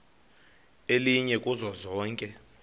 elinye kuzo zonke